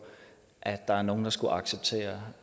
at nogen skulle acceptere